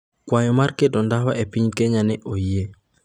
Kwayo mar keto ndawa e piny Kenya ne oyie